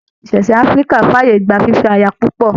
Ìṣẹ̀ṣe Áfíríkà f'ààyè gbà fifẹ aya púpọ.